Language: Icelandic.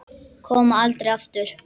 Koma aldrei aftur.